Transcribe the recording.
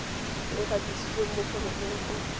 e gatisitsweng mo foromong go